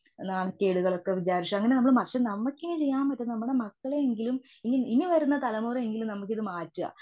നാണക്കേടുകള്ഒക്കെ വിചാരിച്ചു അങ്ങനെ നമ്മള് പക്ഷെ നമുക്കിനി ചെയ്യാൻ പറ്റുന്നത് നമ്മുടെ മക്കളെ എങ്കിലും ഇനി വരുന്ന തലമുറയെ എങ്കിലും ഇത്‌ മാറ്റുക.